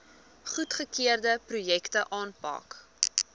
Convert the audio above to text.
goedgekeurde projekte aanpak